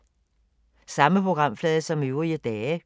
Samme programflade som øvrige dage